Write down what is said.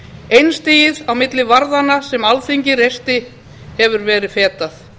einstigið á milli varðanna sem alþingi reisti hefur verið fetað